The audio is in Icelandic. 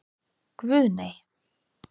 Guð, nei.